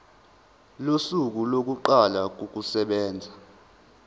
kosuku lokuqala kokusebenza